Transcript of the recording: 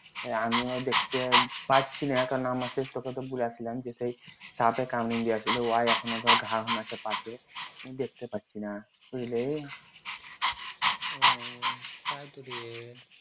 আমিও দেখতে পারছি না কারণ সাপে কামিন দিয়ে দিলো দেখতে পারছি না উম তাই তো রে